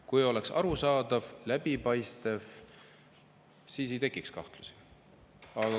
Kui oleks arusaadav, läbipaistev, siis ei tekiks kahtlusi.